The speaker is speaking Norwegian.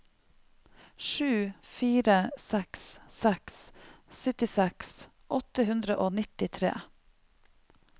sju fire seks seks syttiseks åtte hundre og nittitre